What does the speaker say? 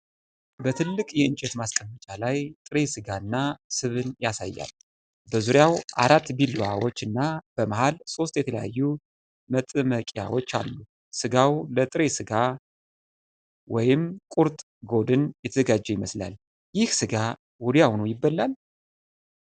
በትልቅ የእንጨት ማስቀመጫ ላይ ጥሬ ሥጋ እና ስብን ያሳያል። በዙሪያው አራት ቢላዋዎችና በመሃል ሶስት የተለያዩ መጥመቂያዎች አሉ። ስጋው ለጥሬ ሥጋ (ቁርጥ/ጎድን) የተዘጋጀ ይመስላል። ይህ ሥጋ ወዲያውኑ ይበላል?